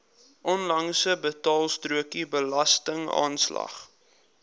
onlangse betaalstrokie belastingaanslag